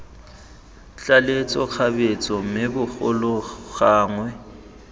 tlaleletso kgabetsa mme bogolo gangwe